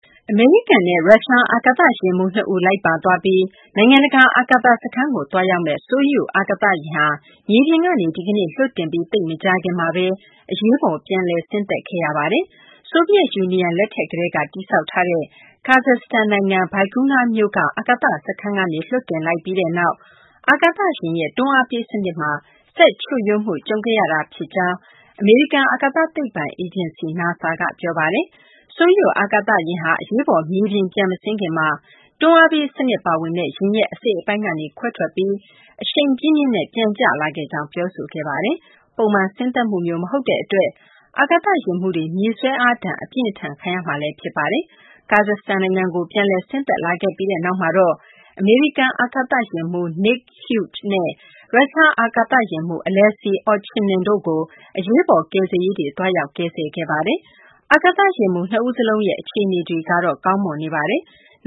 အမေရိကန်နဲ့ ရုရှား အာကာသယာဉ်မှူး ၂ ဦး လိုက်ပါသွားပြီး နိုင်ငံတကာ အာကာသစခန်းကို သွားရောက်မယ့် Soyuz အာကာသယာဉ်ဟာ မြေပြင်ကနေ ဒီကနေ့ လွှတ်တင်ပြီး သိပ်မကြာခင်မှာပဲ အရေးပေါ် ပြန်လည်ဆင်းသက်ခဲ့ရပါတယ်။ ဆိုဗီယက်ယူနီယံ လက်ထက်ကတည်းက တည်ဆောက်ထားတဲ့ Kazakhstan နိုင်ငံ၊ Baikonur မြို့က အာကာသစခန်းကနေ လွှတ်တင်လိုက်ပြီးနောက် အာကာသယာဉ်ရဲ့ တွန်းအားပေးစနစ်မှာ စက်ချို့ယွင်းမှု ကြုံခဲ့ရတာဖြစ်ကြောင်း အမေရိကန် အာကာသသိပ္ပံအေဂျင်စီ (NASA) ကပြောပါတယ်။ Soyuz အာကာသယာဉ်ဟာ အရေးပေါ် မြေပြင်ပြန်မဆင်းခင်မှာ တွန်းအားပေးစနစ်ပါဝင်တဲ့ ယာဉ်ရဲ့အစိတ်အပိုင်းကနေ ခွဲထွက်ပြီး၊ အရှိန်ပြင်းပြင်းနဲ့ ပြန်ကျလာခဲ့ကြောင်း ပြောဆိုခဲ့တာပါ။ ပုံမှန် ဆင်းသက်မှုမျိုး မဟုတ်တဲ့အတွက် အာကာသယာဉ်မှူးတွေ မြေဆွဲအားဒဏ် အပြင်းအထန် ခံရမှာလည်း ဖြစ်ပါတယ်။ Kazakhstan နိုင်ငံကို ပြန်လည်ဆင်းသက်လာခဲ့ပြီးနောက်မှာတော့ အမေရိကန် အာကာသယာဉ်မှူး Nick Hague နဲ့ ရုရှားအာကာသယာဉ်မှူး Alexei Ovchinin တို့ကို အရေးပေါ် ကယ်ဆယ်ရေးတွေ သွားရောက် ကယ်ဆယ်ခဲ့ကြတာပါ။ အာကာသယာဉ်မှူး ၂ ဦးစလုံးရဲ့ အခြေအနေတွေကတော့ ကောင်းမွန်နေပါတယ်။